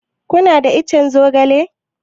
Kuna da ican zogale?